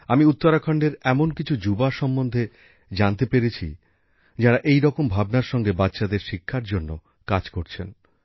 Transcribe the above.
আমি উত্তরাখণ্ডের এমন কিছু যুবকযুবতীর সম্বন্ধে জানতে পেরেছি যাঁরা এইরকম ভাবনার সঙ্গে বাচ্চাদের শিক্ষার জন্য কাজ করছেন